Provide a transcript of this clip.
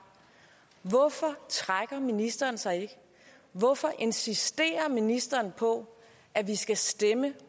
hvorfor trækker ministeren sig ikke hvorfor insisiterer ministeren på at vi skal stemme